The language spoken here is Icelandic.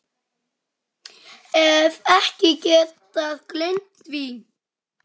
Hef ekki getað gleymt því.